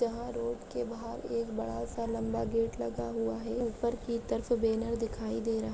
यहा रोड के बहार एक बड़ा सा लंबा गेट लगा हुआ है। ऊपर की तरफ बॅनर दिखाई दे रहा--